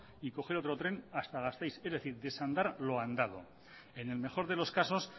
y coger otro tren hasta gasteiz es decir desandar lo andado en el mejor de los casos